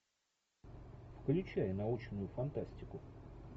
включай научную фантастику